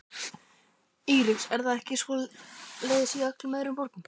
Íris: Er það ekki svoleiðis í öllum öðrum borgum?